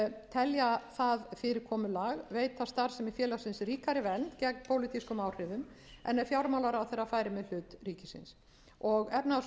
telja það fyrirkomulag veita starfsemi félagsins ríkari vernd gegn pólitískum áhrifum en ef fjármálaráðherra færi með hlut ríkisins háttvirtrar efnahags og